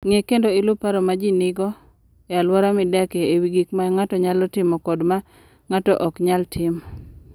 Ng'e kendo iluw paro ma ji nigo e alwora midakie e wi gik ma ng'ato nyalo timo kod ma ng'ato ok nyal timo.